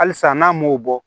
Halisa n'an m'o bɔ